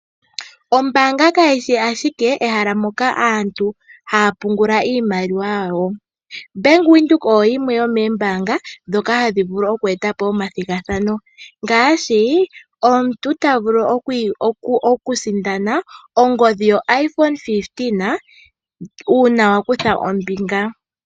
Ombanga kayi shi ashike ehala moka aantu haya pungula iimaliwa yawo, Bank Windhoek oyo yimwe yomoombanga ndhoka hadhi vulu okweetapo omathigathano ngaashi omuntu ta vulu okusindana ongodhi yoIphone 15 uuna wa kutha ombinga.